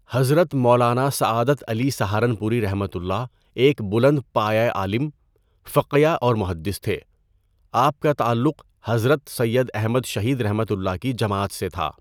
حضرت مولانا سعادت علی سہارنپوریؒ ایک بلند پایہ عالم، فقیہ اور مُحَدِّث تھے۔ آپ کا تعلق حضرت سید احمد شہیدؒ کی جماعت سے تھا۔